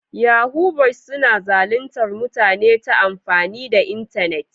Yahu-yahu boyis suna zalintar mutane ta amfani da internet.